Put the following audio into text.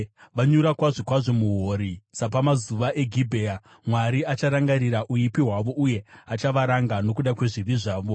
Vanyura kwazvo kwazvo muhuori, sapamazuva eGibhea. Mwari acharangarira uipi hwavo uye achavaranga nokuda kwezvivi zvavo.